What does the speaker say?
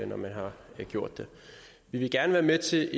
når man har gjort det vi vil gerne være med til